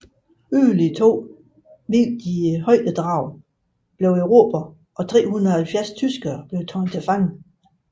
Yderligere to vigtige højdedrag blev erobret og 370 tyskere blev taget til fange